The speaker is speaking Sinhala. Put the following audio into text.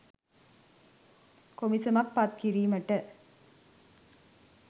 කොමිසමක් පත් කිරීමට